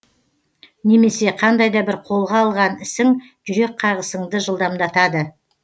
немесе қандай да бір қолға алған ісің жүрек қағысыңды жылдамдатады